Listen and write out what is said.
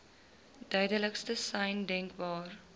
duidelikste sein denkbaar